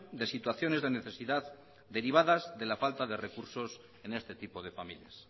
de situaciones de necesidad derivadas de la falta de recursos en este tipo de familias